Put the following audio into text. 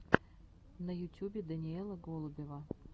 на ютюбе даниэла голубева